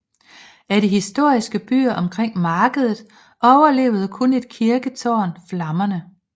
Af de historiske byer omkring markedet overlevede kun et kirketårn flammerne